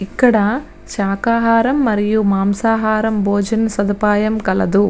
ఇక్కడ శాఖాహారం మరియు మాసహారం భోజన సదుపాయం కలదు.